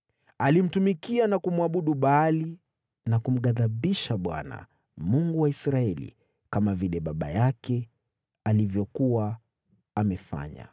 Alimtumikia na kumwabudu Baali na kumghadhibisha Bwana , Mungu wa Israeli, kama vile baba yake alivyokuwa amefanya.